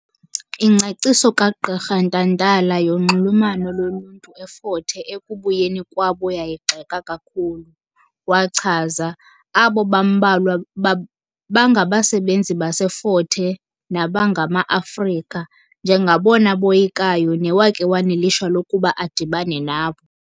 Ingcaciso kaGqirha Ntantala yonxulumano loluntu eFort Hare ekubuyeni kwabo yayigxeka kakhulu. Wachaza "abo bambalwa bangabasebenzi baseFort Hare nabangama-Afrika, njengabona boyikayo newakhe wanelishwa lokuba adibane nabo".